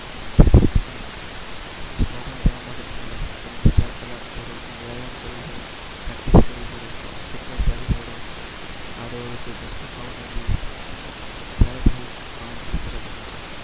જેથી તમે સ્પોર્ટમાં જવા માટે તમારે ત્રણથી ચાર કલાક તો રોજનો વ્યાયામ કરવો પડે, પ્રેક્ટિસ કરવી પડે, ફિટનેસ જાળવવી પડે, આડી-અવડી કોઈ વસ્તું ન ખાવી જોઈએ, ત્યારે તમે એક મહાન ક્રિકેટર બનો છો.